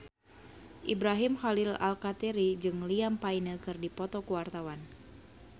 Ibrahim Khalil Alkatiri jeung Liam Payne keur dipoto ku wartawan